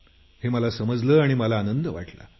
हे मला समजलं आणि मला आनंद वाटला